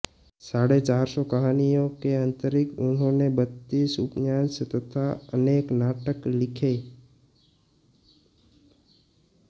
साढ़े चार सौ कहानियों के अतिरिक्त उन्होंने बत्तीस उपन्यास तथा अनेक नाटक लिखे